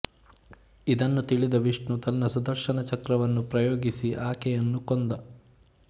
ಇದನ್ನು ತಿಳಿದ ವಿಷ್ಣು ತನ್ನ ಸುದರ್ಶನ ಚಕ್ರವನ್ನು ಪ್ರಯೋಗಿಸಿ ಆಕೆಯನ್ನು ಕೊಂದ